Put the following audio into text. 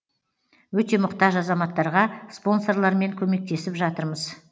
өте мұқтаж азаматтарға спонсорлармен көмектесіп жатырмыз